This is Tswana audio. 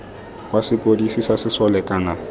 wa sepodisi sa sesole kana